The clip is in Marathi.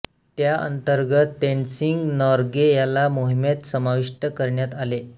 त्या अंतर्गत तेनसिंग नोर्गे याला मोहिमेत समाविष्ट करण्यात आले